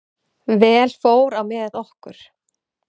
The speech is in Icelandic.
Vel fór á með okkur.